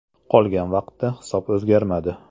Qolgan vaqtda hisob o‘zgarmadi.